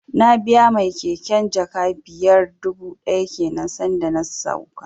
Na biya mai keken jaka biyar dubu ɗaya kenan san da na sauka